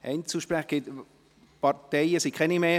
– Gibt es aus den Fraktionen keine Voten mehr?